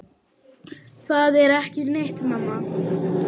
Það er ekki neitt, mamma.